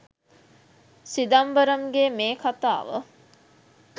සිදම්බරම්ගේ මේ කතාව